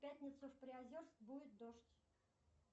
в пятницу в приозерск будет дождь